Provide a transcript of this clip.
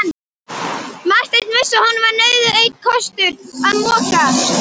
Marteinn vissi að honum var nauðugur einn kostur að moka.